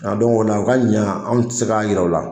A dɔnku o la o ka ɲan, an tɛ se k'an yira o la.